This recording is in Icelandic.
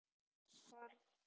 Skorri